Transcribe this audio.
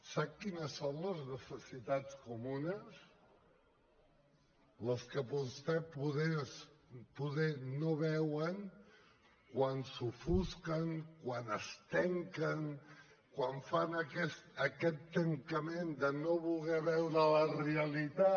sap quines són les necessitats comunes les que vostès poder no veuen quan s’ofusquen quan es tanquen quan fan aquest tancament de no voler veure la realitat